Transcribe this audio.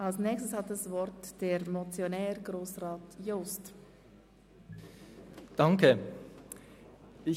Als Nächstes hat der Motionär, Grossrat Jost, nochmals das Wort.